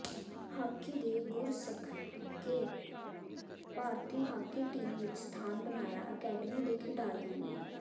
hockey ਦੇ ਗੁਰ ਸਿਖ ਕੇ ਭਾਰਤੀ ਹਾਕੀ ਟੀਮ ਵਿੱਚ ਸਥਾਨ ਬਣਾਇਆ ਅਕੈਡਮੀ ਦੇ ਖਿਡਾਰੀਆਂ ਨੇ